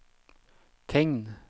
tegn